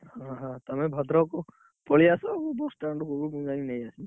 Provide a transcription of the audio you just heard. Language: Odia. ଆହଃ ତମେ ଭଦ୍ରକ ମୁଁ bus stand ରୁ ଯାଇ ନେଇଆସିବି।